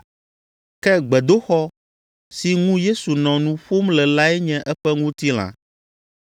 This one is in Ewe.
Ke “gbedoxɔ” si ŋu Yesu nɔ nu ƒom le lae nye eƒe ŋutilã.